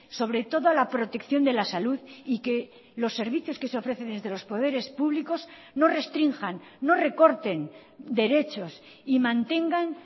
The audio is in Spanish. sobre toda la protección de la salud y que los servicios que se ofrecen desde los poderes públicos no restrinjan no recorten derechos y mantengan